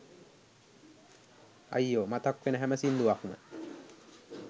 අයියෝ මතක් වෙන හැම සිංදුවක්ම